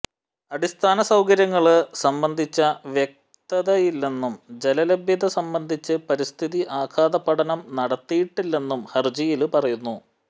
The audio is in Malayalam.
അടിസ്ഥാന സൌകര്യങ്ങള് സംബന്ധിച്ച വ്യക്തതയില്ലന്നും ജലലഭ്യത സംബന്ധിച്ച് പരിസ്ഥിതി ആഘാത പഠനം നടത്തിയിട്ടില്ലെന്നും ഹര്ജിയില് പറയുന്നു